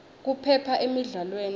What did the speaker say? kuphepha emidlalweni